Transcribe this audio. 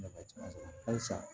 halisa